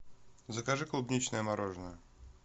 закажи клубничное мороженое